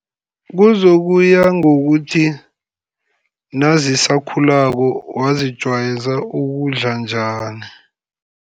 Kuzokuya ngokuthi, nazisakhulako wazijayeza ukudla njani.